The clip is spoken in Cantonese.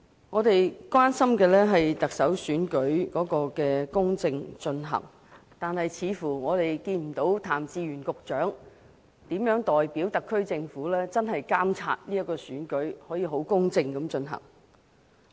我們關心的是特首選舉能否公正進行，但我們似乎看不到譚志源局長如何代表特區政府監察這次選舉，確保可以公正地進行。